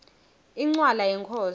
incwala yenkhosi